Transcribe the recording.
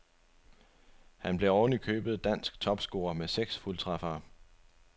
Han blev oven i købet dansk topscorer med seks fuldtræffere.